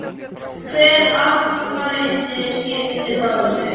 Hvert atkvæði skiptir máli.